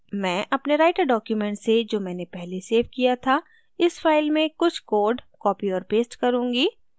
मैं अपने writer document से जो मैंने पहले सेव किया था इस फाइल में कुछ code copy और paste करुँगी